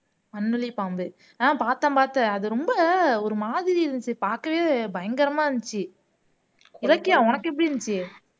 மண்ணுளி பாம்பு ஆஹ் பார்த்தேன் பார்த்தேன் அது ரொம்ப ஒரு மாதிரி இருந்துச்சு பாக்கவே பயங்கரமா இருந்துச்சு இலக்கியா உனக்கு எப்படி இருந்துச்சு